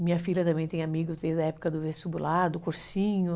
Minha filha também tem amigos desde a época do vestibular, do cursinho.